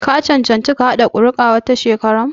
Ka cancanci ka kaɗa kuri'a wata shekara?